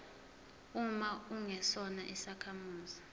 uma ungesona isakhamuzi